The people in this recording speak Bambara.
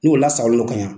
N'o lasagolen don ka ɲa